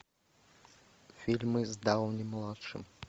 фильмы с дауни младшим